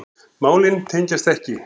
Málin tengjast ekki.